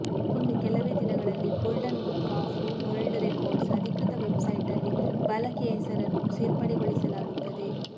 ಇನ್ನು ಕೆಲವೇ ದಿನಗಳಲ್ಲಿ golden book of world records ಅಧಿಕೃತ ವೆಬ್ ಸೈಟ್ನಲ್ಲಿ ಬಾಲಕಿಯ ಹೆಸರನ್ನು ಸೇರ್ಪಡೆಗೊಳಿಸಲಾಗುತ್ತದೆ